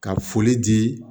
Ka foli di